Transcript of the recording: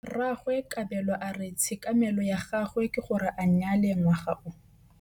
Rragwe Kabelo a re tshekamêlô ya gagwe ke gore a nyale ngwaga o.